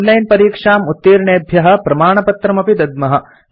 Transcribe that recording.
online परीक्षाम् उत्तीर्णेभ्य प्रमाणपत्रम् अपि दद्मः